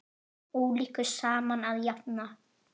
Ólíku saman að jafna.